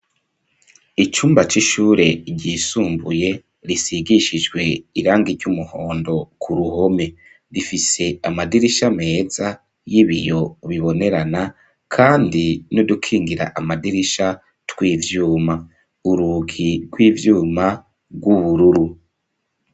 Icumba c'ishure ryisumbuye risigishijwe irangi ry'umuhondo ku ruhome rifise amadirisha meza y'ibiyo ubibonerana, kandi no dukingira amadirisha tw'ivyuma urugi rw'ivyuma rw'ubururu.